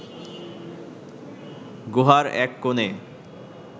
গুহার এক কোণে